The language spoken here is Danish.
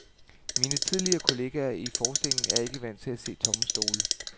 Mine tidligere kollegaer i forestillingen er ikke vant til at se tomme stole.